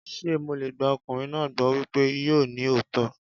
Ṣé mo lè gba ọkùnrin náà gbọ́ wípé yóò ní òótọ́?